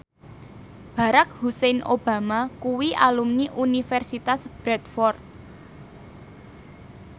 Barack Hussein Obama kuwi alumni Universitas Bradford